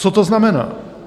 Co to znamená?